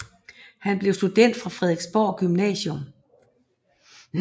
Han blev student fra Frederiksborg Gymnasium